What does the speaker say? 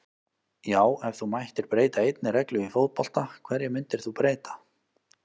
Já Ef þú mættir breyta einni reglu í fótbolta, hverju myndir þú breyta?